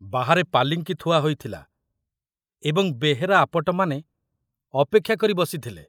ବାହାରେ ପାଲିଙ୍କି ଥୁଆ ହୋଇଥିଲା ଏବଂ ବେହେରା ଆପଟମାନେ ଅପେକ୍ଷା କରି ବସିଥିଲେ।